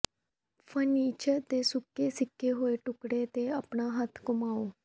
furniture ਦੇ ਸੁੱਕੇ ਸਿਕੇ ਹੋਏ ਟੁਕੜੇ ਤੇ ਆਪਣਾ ਹੱਥ ਘੁਮਾਓ